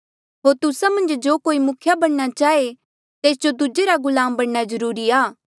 होर तुस्सा मन्झ जो कोई मुखिया बणना चाहे तेस जो दूजे रा गुलाम बणना जरूरी आ